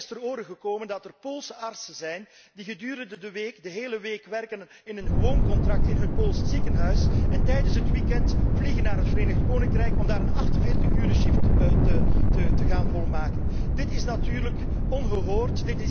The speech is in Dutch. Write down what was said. Mij is ter ore gekomen dat er Poolse artsen zijn die gedurende de week de hele week werken op een gewoon contract in een Pools ziekenhuis en tijdens het weekend naar het Verenigd Koninkrijk vliegen om daar een 48 uursshift te gaan draaien. Dit is natuurlijk ongehoord.